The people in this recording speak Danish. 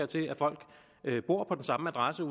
til at folk bor på den samme adresse